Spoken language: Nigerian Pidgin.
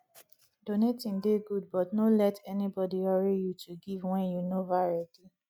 donating dey good but no let anybody hurry you to give wen you nova ready